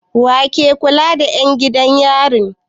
Wa ke kula da 'yan gidan yari?